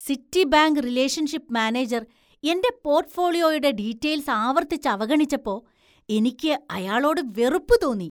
Citibank relationship manager എന്‍റെ പോർട്ട്ഫോളിയോയുടെ details ആവർത്തിച്ച് അവഗണിച്ചപ്പോ, എനിക്ക് അയാളോട് വെറുപ്പ് തോന്നി.